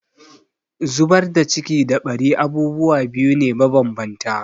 Zubar da ciki da ɓari abubuwa biyu ne mabanbanta.